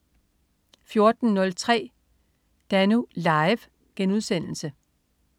14.03 Danú. Live*